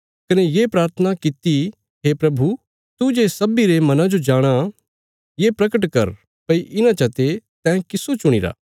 कने ये प्राथना किति हे प्रभु तू जे सब्बीं रे मना जो जाणाँ ये प्रगट कर भई इन्हां चते तैं किस्सो चुणीरा